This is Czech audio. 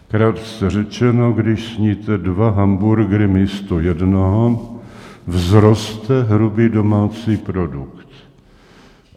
Krátce řečeno, když sníte dva hamburgery místo jednoho, vzroste hrubý domácí produkt.